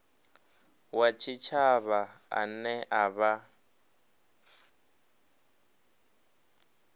wa tshitshavha ane a vha